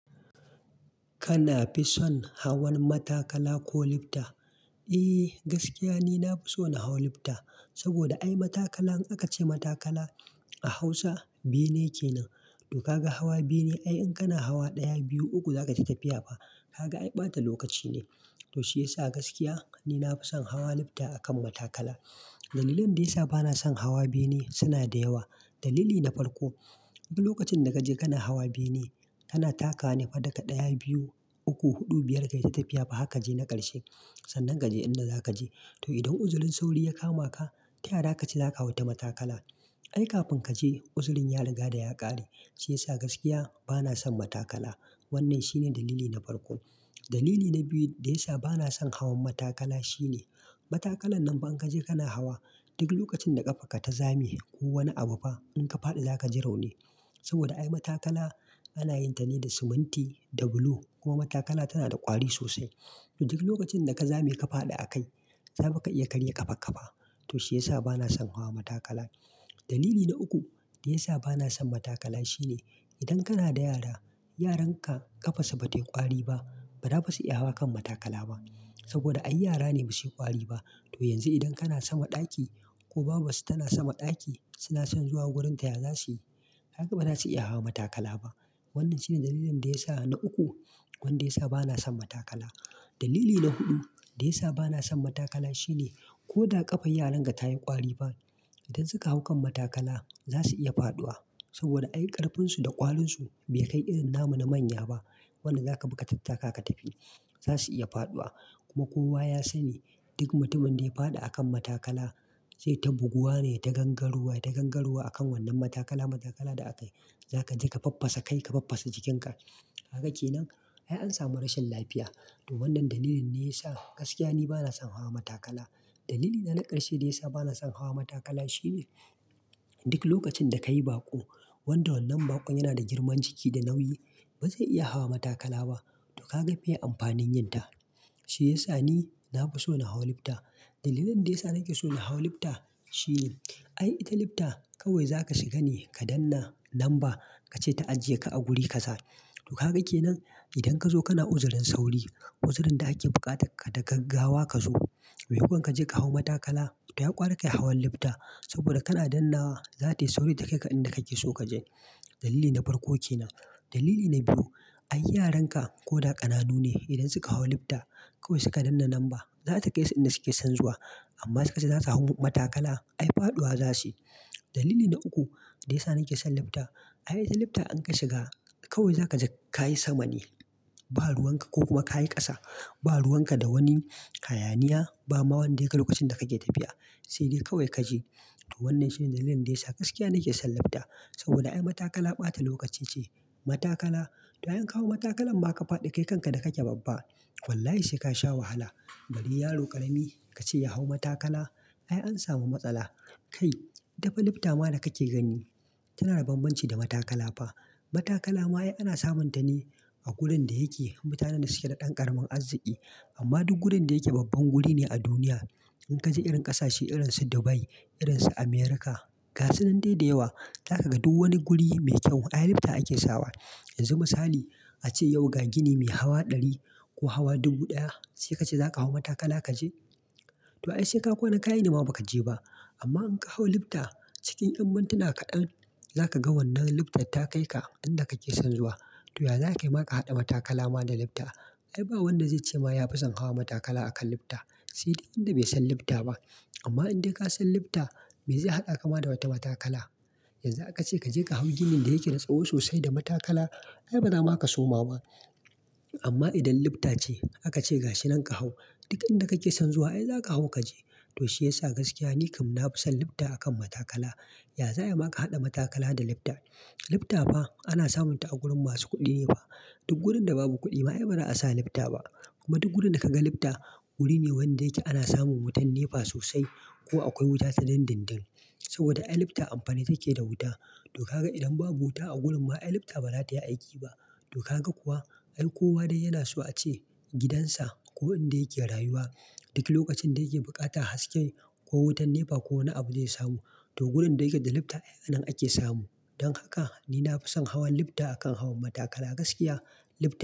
Kana fi son hawan matakala ko lifta? Eh gaskiya ni nafi son hawa lifta saboda ai matakala in aka ce matakala a Hausa bene kenan. To kaga hawa bene ai in kana hawa ɗaya, biyu, uku zaka ci tafiya fa. Kaga ai ɓata lokaci ne. To shiyasa gaskiya ni nafi son hawa lifta akan matakala. Dalilan da ya sa bana son hawa bene suna da yawa. Dalili na farko, duk lokacin da kaje kana hawa bene kana taka ne fa daga ɗaya, biyu, uku, huɗu, biyar kai ta tafiya fa haka je na ƙarshe sannan kaje inda zaka je. To idan uzurin sauri ya kama ka, ta ya ra kace zaka hau ta matakala? Ai kafin kaje uzurin ya riga da ya ƙare. Shi ya sa gaskiya bana son matakala. Wannan shine dalili na farko. Dalili na biyu da ya sa bana son hawan matakala shine matakalan nan fa in kaje kana hawa duk lokacin da ƙafarka ta zame ko wani abu fa in ka faɗi za ka ji rauni. Saboda ai matakala ana yin ta ne da siminti da bulo kuma matakala tana da ƙwari sosai. To duk lokacin da ka zame ka faɗi a kai saboda ka iya karya ƙafa-ƙafa. To shi ya sa bana son hawa matakala. Dalili na uku da ya sa bana son matakala shine idan kana da yara, yaran ka ƙafansu ba ta ƙwari ba, ba za su iya hawa kan matakala ba saboda ai yara ne ba su yi ƙwari ba. To yanzu idan kana sama ɗaki ko babarsu tana sama ɗaki suna son zuwa wurinka, ya za su yi? Haka ba za su iya hawa matakala ba. Wannan shine dalilin da ya sa, na uku, wanda ya sa bana son matakala. Dalili na huɗu da ya sa bana son matakala shine ko da ƙafar yaran ka ta yi ƙwari ba idan suka hau kan matakala za su iya faɗuwa saboda ai ƙarfinsu da ƙwalinsu bai kai irin namu na manya ba. Wannan za ka bi ka tattaka ka tafi. Za su iya faɗuwa. Kuma kowa ya sani duk mutumin da ya faɗi a kan matakala sai ta buguwa ne, ta gangaruwa, ta gangaruwa a kan wannan matakala, matakala da akayi. Za ka je ka faffasa kai, ka faffasa jikinka. Haka kenan ai an samu rashin lafiya. To wannan dalilin ne ya sa gaskiya ni bana son hawa matakala. Dalili na na ƙarshe da ya sa bana son hawa matakala shine duk lokacin da ka yi baƙo wanda wannan baƙon yana da girman jiki da nauyi ba zai iya hawa matakala ba. To kaga bai yi amfanin yin ta. Shi ya sa ni nafi so na hawa lifta. Dalilan da ya sa nake so na hawa lifta shi ne ai ita lifta kawai za ka shiga ne ka danna lamba ka ce ta ajiye ka a guri ka sa. To kaga kenan idan ka zo kana uzurin sauri, uzurin da ake bukata ka daga gawa ka zo. Mai yiwuwa kaje ka hau matakala, ta ya ƙwari ka hawan lifta saboda kana dannawa za ta yi sauri ta kai ka inda kake so ka je. Dalili na farko kenan. Dalili na biyu, ai yaran ka ko da ƙananu ne idan suka hau lifta kawai su ka danna lamba za su kai su inda su ke son zuwa amma suka ce za su hau matakala ai faɗuwa za su yi. Dalili na uku da ya sa nake son lifta ai ita lifta in ka shiga kawai za ka je ka yi sama ne ba ruwan ka ko kuma ka yi ƙasa ba ruwan ka da wani hayaniya ba ma wanda yake lokacin da kake tafiya sai dai kawai ka je. To wannan shine dalilin da ya sa gaskiya nake son lifta saboda ai matakala ɓata lokaci ce. Matakala, ta yan hawa matakalan ma ka faɗi kai kanka da kake babba. Wallahi sai ka sha wahala. Bari yaro ƙarami ka ce ya hau matakala ai an samu matsala. Kai taba lifta ma da kake gani tana da banbanci da matakala ba. Matakala ma ai ana samun ta ne a gurin da yake mutanen da suke da ɗan ƙaramin arziki amma duk gurin da yake babban guri ne a duniya. In kaje irin ƙasashe irin su Dubai, irin su Amurka, gasu nan dai da yawa za ka ga duk wani guri mai kyau ai lifta ake sawa. Yanzu misali a ce yau ka gini mai hawa ɗari ko hawa dubu ɗaya sai kace za ka hau matakala ka je? To ai sai ka ƙona kayi namu ba ka je ba. Amma in ka hau lifta cikin ya mintina kaɗan za ka ga wannan liftar ta kai ka inda kake son zuwa. To ya za ka yi ma ka haɗa matakala ma da lifta? Ai ba wanda zai ce ma yafi son hawa matakala a kan lifta sai dai inda bai san lifta ba. Amma in dai ka san lifta me zai haɗa ka ma da wata matakala? Yanzu aka ce kaje ka hau gini da yake da tsaho sosai da matakala ai bana ma ka suma ma. Amma idan lifta ce aka ce gashi nan ka hau duk inda kake son zuwa ai za ka hau ka je. To shi ya sa gaskiya ni kam nafi son lifta akan matakala. Ya zaya ma ka haɗa matakala da lifta? Lifta fa ana samun ta a gurin masu kuɗi ne fa. Duk gurin da babu kuɗi ma ai bana a sa lifta ba. Kuma duk gurin da kaga lifta guri ne wanda yake ana samun wutan nefa sosai ko akwai wuta sanen dindindin saboda ai lifta amfani take da wuta. To kaga idan babu wuta a gurin ma ai lifta ba za ta yi aiki ba. To kaga kuwa ai kowa dai yana so a ce gidansa ko inda yake rayuwa duk lokacin da yake bukata haske ko wutan nefa ko wani abu zai samu to gurin da yake da lifta ai a nan ake samu. Don haka ni nafi son hawan lifta akan hawan matakala. Gaskiya lifta.